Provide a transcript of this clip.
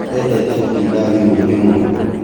Endete gũtinda thimũ-inĩ mũno